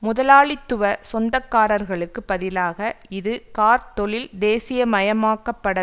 முதலாளித்துவ சொந்தக்காரர்களுக்கு பதிலாக இது கார்த் தொழில் தேசியமயமாக்கப்பட